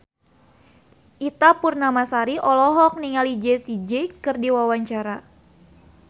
Ita Purnamasari olohok ningali Jessie J keur diwawancara